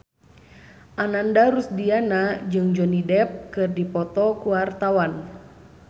Ananda Rusdiana jeung Johnny Depp keur dipoto ku wartawan